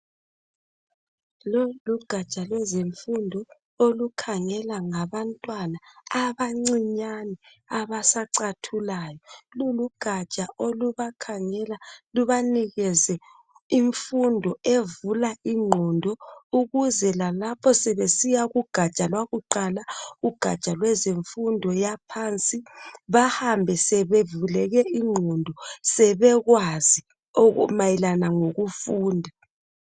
lolulu gatsha lwezemfundo olukhangela ngabantwana abancinyane abasacathulayo lulugatsha olubakhangela lubanikeze imfundo evula ingqondo ukuze lalapho sebesiya ku gatsha lwakuqala ugatsha lwezemfundo yaphansi bahambe sebevuleke ingqondo sebekwazi mayelana ngokufunda